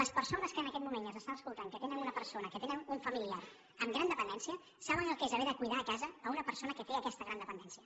les persones que en aquest moment ens estan escoltant que tenen una persona que tenen un familiar amb gran dependència saben què és haver de cuidar a casa una persona que té aquesta gran dependència